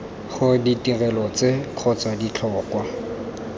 gore ditirelo tse kgotsa ditlhokwa